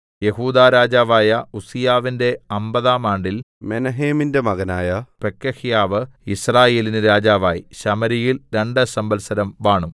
യെഹൂദാ രാജാവായ ഉസ്സീയാവിന്റെ അമ്പതാം ആണ്ടിൽ മെനഹേമിന്റെ മകനായ പെക്കഹ്യാവ് യിസ്രായേലിന് രാജാവായി ശമര്യയിൽ രണ്ട് സംവത്സരം വാണു